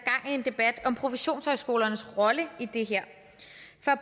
i en debat om professionshøjskolernes rolle i det her